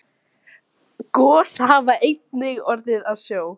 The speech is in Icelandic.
Gos hafa einnig orðið í sjó.